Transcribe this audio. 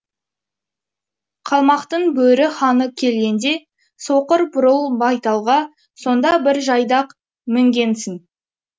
қалмақтың бөрі ханы келгенде соқыр бурыл байталға сонда бір жайдақ мінгенсің